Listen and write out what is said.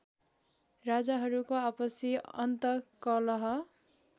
राजाहरूको आपसी अन्तकलह